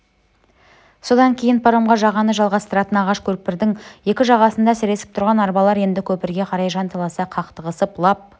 содан кейін паромға жағаны жалғастыратын ағаш көпірдің екі жағасында сіресіп тұрған арбалар енді көпірге қарай жанталаса қақтығысып лап